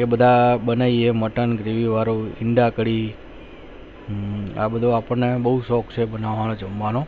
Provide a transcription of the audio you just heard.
એ બધા મટન બન્યી gravy વાળું અંડા કડી આ બધું આપણા બહુ શોક છે બનવાનું